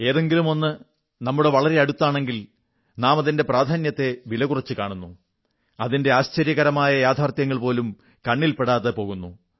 എന്തെങ്കിലുമൊന്ന് നമ്മുടെ വളരെ അടുത്താണെങ്കിൽ നാമതിന്റെ പ്രാധാന്യത്തെ വിലകുറച്ചു കാണുന്നു അതിന്റെ ആശ്ചര്യകരമായ യാഥാർഥ്യങ്ങൾ പോലും കണ്ണിൽ പെടാതെ പോകുന്നു